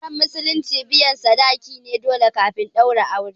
Auren musulunci biyan sadaki dole ne kafin a ɗaura shi